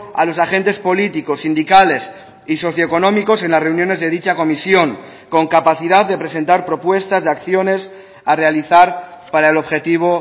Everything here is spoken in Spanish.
a los agentes políticos sindicales y socioeconómicos en las reuniones de dicha comisión con capacidad de presentar propuestas de acciones a realizar para el objetivo